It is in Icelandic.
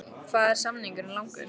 Hvað er samningurinn langur?